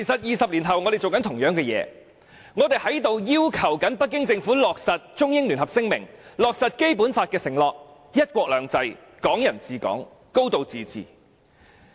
二十年後，我們正在做相同的事情，我們要求北京政府落實《中英聯合聲明》，落實《基本法》的承諾，包括"一國兩制"、"港人治港"、"高度自治"。